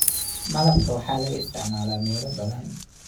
Malabka waxaa laga isticmaalaa meelo badan